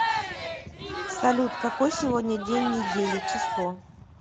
салют какой сегодня день недели число